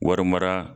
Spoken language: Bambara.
Wari mara